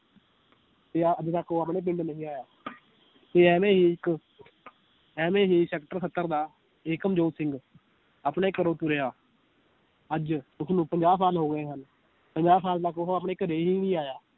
ਤੇ ਆਹ ਅੱਜ ਤੱਕ ਉਹ ਆਪਣੇ ਪਿੰਡ ਨਹੀਂ ਆਇਆ ਤੇ ਐਵੇਂ ਹੀ ਇਕ ਐਵੇਂ ਹੀ sector ਸੱਤਰ ਦਾ ਏਕਮ ਜੋਤ ਸਿੰਘ ਆਪਣੇ ਘਰੋਂ ਤੁਰਿਆ ਅੱਜ ਉਸਨੂੰ ਪੰਜਾਹ ਸਾਲ ਹੋ ਗਏ ਹਨ ਪੰਜਾਹ ਸਾਲ ਤਕ ਉਹ ਆਪਣੇ ਘਰੇ ਹੀ ਨੀ ਆਇਆ